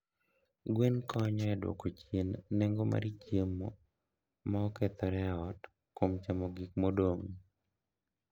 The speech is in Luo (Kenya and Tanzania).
Gwen konyo e dwoko chien nengo mar chiemo ma okethore e ot kuom chamo gik modong'.